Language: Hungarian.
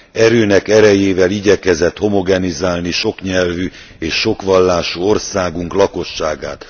erőnek erejével igyekezett homogenizálni soknyelvű és sokvallású országunk lakosságát.